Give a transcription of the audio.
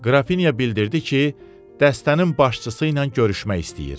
Qrafinya bildirdi ki, dəstənin başçısı ilə görüşmək istəyir.